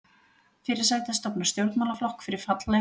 Fyrirsæta stofnar stjórnmálaflokk fyrir fallega